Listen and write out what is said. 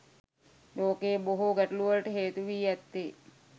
ලෝකයේ බොහෝ ගැටලුවලට හේතු වී ඇත්තේ